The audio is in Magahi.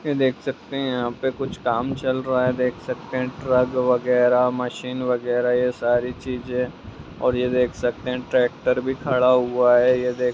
ये देख सकते हैं यहाँ पे कुछ काम चल रहा हैं देख सकते हैं ट्रक वगेरा मशीन वगेरा ये सारी चीजें और ये देख सकते हैं ट्रैक्टर भी खड़ा हुआ हैं ये देख--